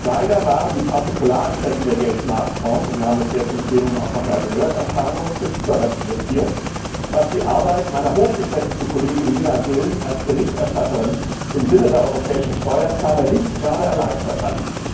Leider waren die Partikularinteressen der Geldmarktfonds und wir haben das jetzt im Plenum auch noch einmal gehört am Verhandlungstisch überrepräsentiert, was die Arbeit meiner hochgeschätzten Kollegin Neena Gill als Berichterstatterin im Sinne der europäischen Steuerzahler nicht gerade erleichtert hat.